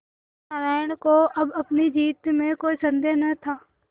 सत्यनाराण को अब अपनी जीत में कोई सन्देह न था